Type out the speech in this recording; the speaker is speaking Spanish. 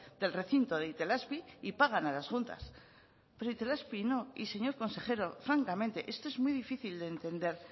del recinto de itelazpi y pagan a las juntas pero itelazpi no y señor consejero francamente esto es muy difícil de entender